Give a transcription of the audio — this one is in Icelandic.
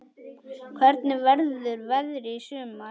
Hvernig verður veðrið í sumar?